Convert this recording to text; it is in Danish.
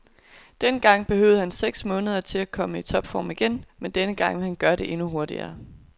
Dengang behøvede han seks måneder til at komme i topform igen, men denne gang vil han gøre det endnu hurtigere.